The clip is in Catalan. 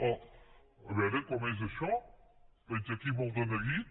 a veure com és això veig aquí molt de neguit